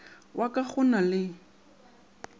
wa ka go na le